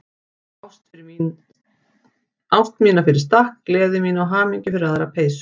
Ást mína fyrir stakk, gleði mína og hamingju fyrir aðra peysu.